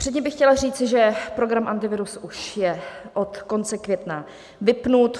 Předtím bych chtěla říci, že program Antivirus je už od konce května vypnut.